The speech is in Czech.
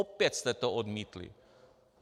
Opět jste to odmítli.